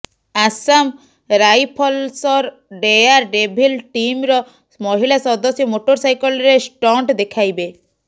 ଆସାମ ରାଇଫଲସର dare devil ଟିମ୍ର ମହିଳା ସଦସ୍ୟ ମୋଟରସାଇକେଲରେ ଷ୍ଟଣ୍ଟ ଦେଖାଇବେ